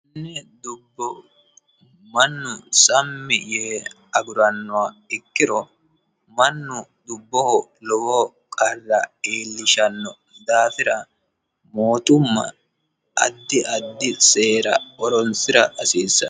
Dubbo mannu sammi yee agurannoha ikkiro mannu dubboho lowo qarra iillishanno daafira mootumma addi addi seera horoonsira hasiissano.